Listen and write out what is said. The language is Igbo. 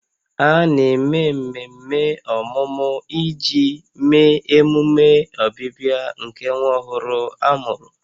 A na-eme mmemme ọmụmụ iji mee emume ọbịbịa nke nwa ọhụrụ a mụrụ